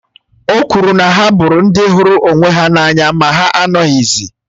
O kwuru na ha bụrụ ndị hụrụ onwe ha n’anya ma ha anọghịzi